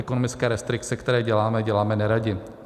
Ekonomické restrikce, které děláme, děláme neradi.